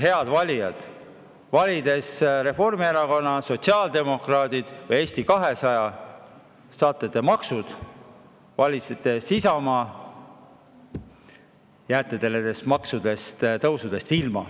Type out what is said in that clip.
Head valijad, valides Reformierakonna, sotsiaaldemokraadid või Eesti 200, saate maksud, valides Isamaa, jääte nendest maksutõusudest ilma.